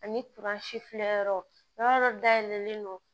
Ani filɛ yɔrɔ dɔ dayɛlɛlen don